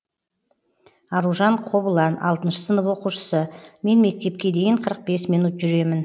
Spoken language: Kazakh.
аружан қобылан алтыншы сынып оқушысы мен мектепке дейін қырық бес минут жүремін